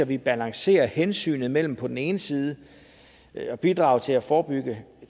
vi balancerer hensynet mellem på den ene side at bidrage til at forebygge